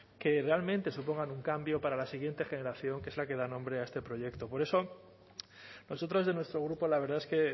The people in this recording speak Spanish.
que realmente supongan un cambio para la siguiente generación que es la que da nombre a este proyecto por eso nosotros desde nuestro grupo la verdad es que